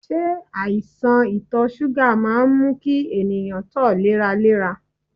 Se aisan ito suga maa n mu ki eniyan to leralera?